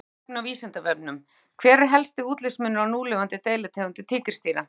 Frekara lesefni á Vísindavefnum: Hver er helsti útlitsmunur á núlifandi deilitegundum tígrisdýra?